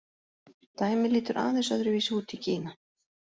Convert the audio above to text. Dæmið lítur aðeins öðru vísi út í Kína.